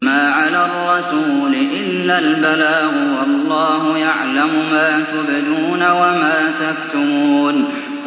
مَّا عَلَى الرَّسُولِ إِلَّا الْبَلَاغُ ۗ وَاللَّهُ يَعْلَمُ مَا تُبْدُونَ وَمَا تَكْتُمُونَ